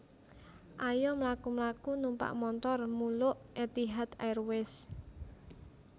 Ayo mlaku mlaku numpak montor muluk Etihad Airways